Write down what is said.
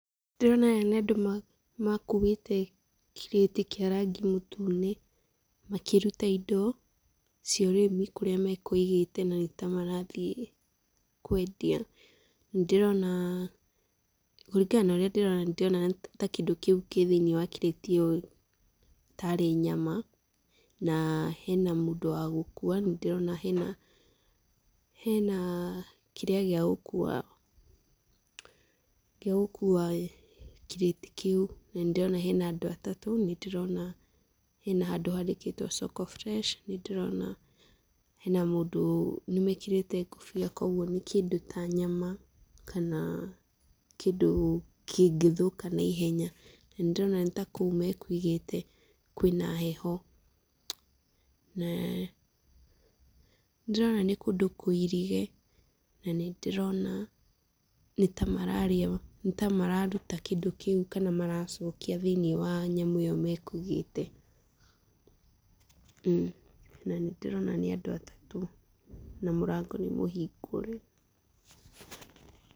Ndĩrona aya nĩ andũ makuĩte kirĩti kĩa rangi mũtune, makĩruta indo cia ũrĩmi kũrĩa makũigĩte na nĩ ta marathiĩ kwendia. Nĩndĩrona, kũringana na ũrĩa ndĩrona, nĩ ta kĩndũ kĩu kĩ thĩiniĩ wa kirĩti ĩyo tarĩ nyama, na hena mũndũ wa gũkuua. Nĩndĩrona hena hena kĩrĩa gĩa gũkuua kirĩti kĩu. Na nĩndĩrona harĩ na andũ atatũ, nĩndĩrona hena handũ handĩkĩtwo soko fresh nĩndĩrona hena mũndũ, nĩmekĩrĩte ngũbia, koguo nĩ kĩndũ ta nyama, kana kĩndũ kĩngĩthũka na ihenya, na nĩndĩrona nĩ ta kũu me kũigĩte kwĩ na heho. Na ndĩrona nĩ kũndũ kũirige, na nĩndĩrona nĩ ta maruta kĩndũ kĩu, kana maracokia thĩiniĩ wa nyamũ ĩyo makũigĩte. Na nĩndĩrona nĩ andũ atatũ, na mũrango nĩmũhingũre.